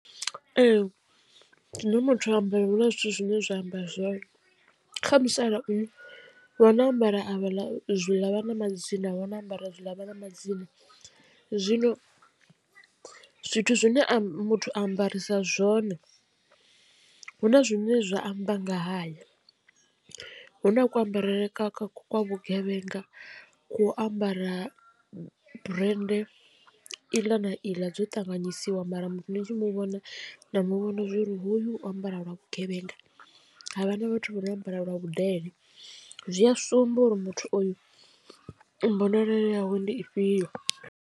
Ee zwine muthu a ambare hu na zwithu zwine zwa amba zwone kha musalauno vha no ambara avha ḽa zwi ḽa vhana madzina avho na ambara zwi ḽa vhana madzina. Zwino zwithu zwine a muthu ambarisa zwone hu na zwine zwa amba nga haye hu na ku ambarele kwa vhugevhenga kwo ambara brende iḽa na iḽa dzo ṱanganyisiwa mara muthu ni tshi muvhona na muvhona uri hoyu ambara lwa vhugevhenga, havha na vhathu vha no ambara lwa vhudele zwi a sumba uri muthu oyu mbonalelo yawe ndi ifhio.